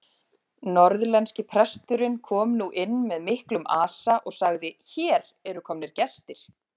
Norðlenski presturinn kom nú inn með miklum asa og sagði:-Hér eru komnir gestir!